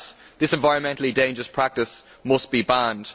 This environmentally dangerous practice must be banned.